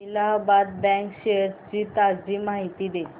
Allahabad bank shares ची ताजी माहिती दे